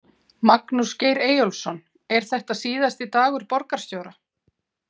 Magnús Geir Eyjólfsson: Er þetta síðasti dagur borgarstjóra?